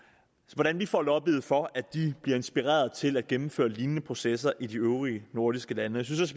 hvordan vi får lobbyet for at de bliver inspireret til at gennemføre lignende processer i de øvrige nordiske lande jeg synes